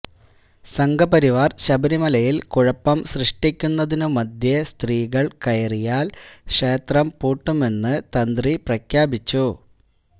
സംഘപരിവാർ ശബരിമലയിൽ കുഴപ്പം സൃഷ്ടിക്കുന്നതിനുമധ്യേ സ്ത്രീകൾ കയറിയാൽ ക്ഷേത്രം പൂട്ടുമെന്ന് തന്ത്രി പ്രഖ്യാപിച്ചു